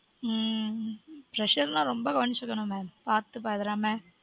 ம்ம் pressure நா ரொம்ப கவனிச்சுக்கனுமே பார்த்து பதராம